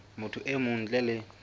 motho e mong ntle le